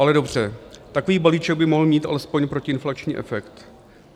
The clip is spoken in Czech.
Ale dobře, takový balíček by mohl mít alespoň protiinflační efekt.